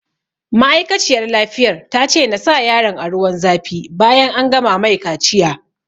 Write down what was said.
Ma'aikaciyar lafiyar ta ce na sa yaron a ruwan zafi bayan an gama mai kaciya